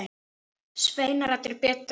Sveinar allir bera.